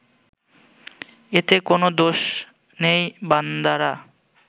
এতে কোনও দোষ নেই বান্দারা